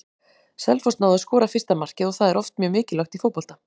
Selfoss náði að skora fyrsta markið og það er oft mjög mikilvægt í fótbolta.